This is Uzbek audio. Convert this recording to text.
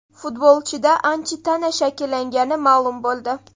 Futbolchida antitana shakllangani ma’lum bo‘ldi.